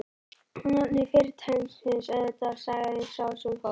Á nafni fyrirtækisins, auðvitað sagði sá sem fór.